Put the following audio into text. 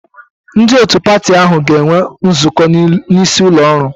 Ndị otu patị ahụ ga-enwe nzukọ n'isi ụlọ oru